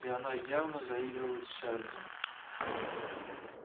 и она явно заигрывает с чарлзом